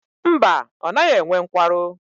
Mba, ọ naghị enwe nkwarụ.